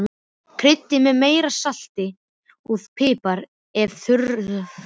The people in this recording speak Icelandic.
Kryddið með meira salti og pipar ef þurfa þykir.